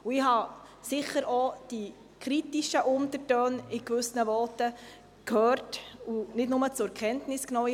Ich habe sicher auch die kritischen Untertöne in gewissen Voten gehört und nicht nur zur Kenntnis genommen: